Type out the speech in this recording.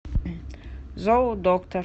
зоодоктор